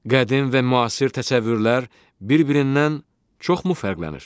Qədim və müasir təsəvvürlər bir-birindən çoxmu fərqlənir?